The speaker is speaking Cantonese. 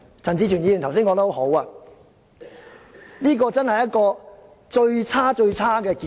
陳志全議員剛才說得很好，這真是一個最差、最差的結果。